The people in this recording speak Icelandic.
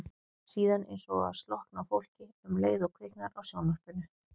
Síðan eins og slokkni á fólki um leið og kviknar á sjónvarpinu.